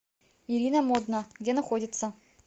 ирина модна где находится